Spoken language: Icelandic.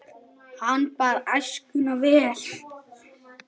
Hann bar æskuna vel.